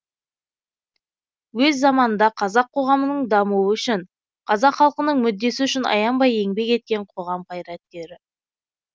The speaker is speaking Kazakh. өз заманында қазақ қоғамының дамуы үшін қазақ халқының мүддесі үшін аянбай еңбек еткен коғам қайраткері